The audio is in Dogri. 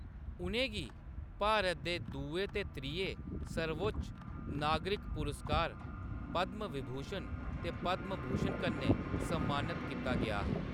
उʼनें गी भारत दे दुए ते त्रिये सर्वोच्च नागरिक पुरस्कार पद्म विभूषण ते पद्म भूषण कन्नै सम्मानत कीता गेआ हा।